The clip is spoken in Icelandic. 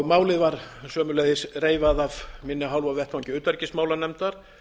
málið var sömuleiðis reifað af minni hálfu á vettvangi utanríkismálanefndar